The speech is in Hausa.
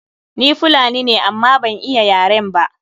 Ni Fulani ne amma ban iya yaren ba.